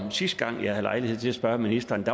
sidste gang jeg havde lejlighed til at spørge ministeren